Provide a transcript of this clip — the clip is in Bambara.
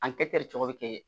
An kɛ cogo bɛ kɛ